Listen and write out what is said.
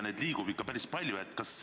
Neid liigub ikka päris palju.